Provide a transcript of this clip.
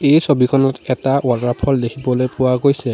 এই ছবিখনত এটা ৱাটাৰফল দেখিবলৈ পোৱা গৈছে।